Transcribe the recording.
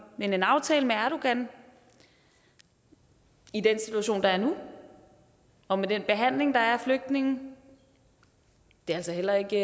men en aftale med erdogan i den situation der er nu og med den behandling der er af flygtninge er altså heller ikke